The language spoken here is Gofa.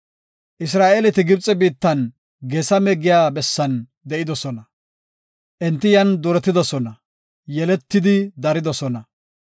Isra7eeleti Gibxe biittan Geesame giya bessan de7idosona. Enti yan duretidosona; yeleti daridosona.